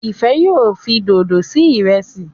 Ifẹ yóò fí dodo sí Ìrẹsí.